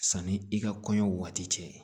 Sanni i ka kɔɲɔ waati cɛ